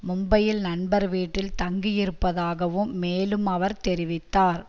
மும்பையில் நண்பர் வீட்டில் தங்கியிருப்பதாகவும் மேலும் அவர் தெரிவித்தார்